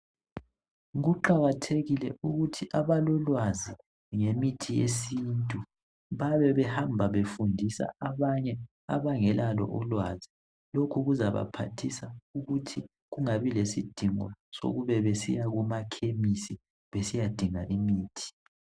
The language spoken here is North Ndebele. Kuqakathekile ukuthi abalolwazi ngemithi yesintu babebehamba befundisa abanye abangelalo ulwazi lokhu kuzabaphathisa ukuthi kungabi lesidingo sokube besiya kumakhemisi besiyadinga imithi.